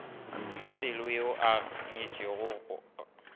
mapelo yo a nyetšwego ga